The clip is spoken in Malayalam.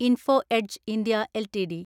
info Edge (India) LTD